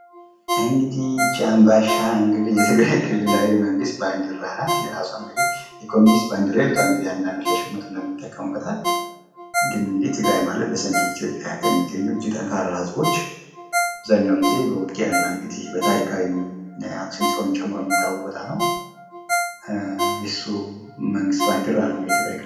ይሄ እንግዲህ ይች አንባሻi የትግራይ ብሔራዊ ክልላዊ መንግስት ባንድራ ናት። ይች የኮሙኒስት ባንድራ ይሉታል እንዳንዶች ለሽሙጥ ይጠቀሙበታል። ትግራይ ማለት በሰሜን ኢትዮጵያ የሚገኘው እኒህ ጠንካራ ህዝቦች አብዛኛውን ጊዜ እንግዲህ በውጊያና በታሪዊም አክሱም ጽዮንን ጨምሮ የሚታወቅ ቦታ ነው። የሱ መንግስት ባንድራ ነው። እንግዲህ የትግራይ ክልል።